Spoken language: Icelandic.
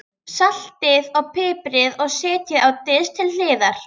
Saltið og piprið og setjið á disk til hliðar.